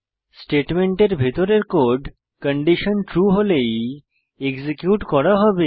স্টেটমেন্টের ভিতরের code condition true হলেই এক্সিকিউট করা হবে